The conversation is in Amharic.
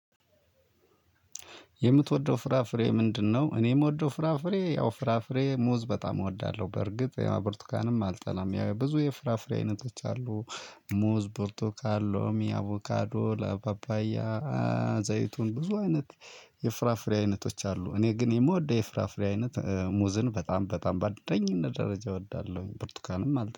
የምትወደው ፍራፍሬ ምንድነው? እኔ ምወደው ፍራፍሬ ያው ፍራፍሬ ሙዝ በጣም እወዳለሁ በርግጥ ቡርቱካንም አልጠላም ብዙ የፍራፍሬ አይነቶች አሉ። ሙዝ ቡርቱካን ሎሚ አቮካዶ ለ ፓፓያ። ዘይቱን ብዙ አይነት የፍራፍሬ አይነቶች አሉ። እኔ ግን የምወደው የፍራፍሬ አይነት ሙዝን በጣም በጣም ባንደኝነት ደረጃ እወዳለሁኝ ብርትኳንም